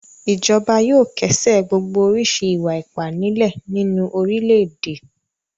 Ìjọba yóò kẹ́sẹ̀ gbogbo oríṣi ìwà-ipá nílẹ̀ nínú orílẹ̀-èdè.